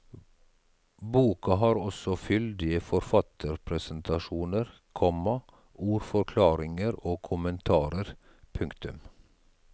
Boka har også fyldige forfatterpresentasjoner, komma ordforklaringer og kommentarer. punktum